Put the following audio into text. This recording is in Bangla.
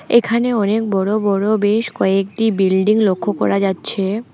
এখানে অনেক বড় বড় বেশ কয়েকটি বিল্ডিং লক্ষ করা যাচ্ছে।